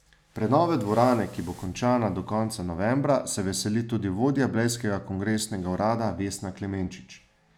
Prenove dvorane, ki bo končana do konca novembra, se veseli tudi vodja blejskega kongresnega urada Vesna Klemenčič.